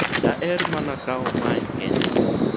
daher mana kawo mae kende